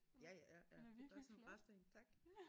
Ja ja ja ja det bare sådan en rest én tak